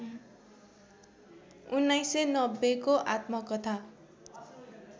१९९० को आत्मकथा